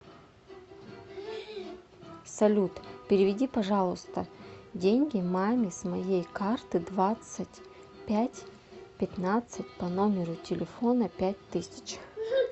салют переведи пожалуйста деньги маме с моей карты двадцать пять пятнадцать по номеру телефона пять тысяч